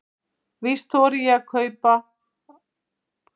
Víst þori ég að hugsa sjálf.